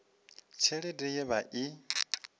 tshelede ye ya vha i